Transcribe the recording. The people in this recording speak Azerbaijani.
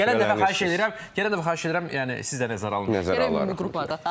Gələn dəfə xahiş edirəm, gələn dəfə xahiş edirəm, yəni siz də nəzərə alın, qrupada.